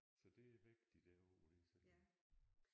Så det er væk de der ord det er sådan